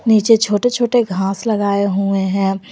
नीचे छोटे छोटे घास लगाएं हुए हैं।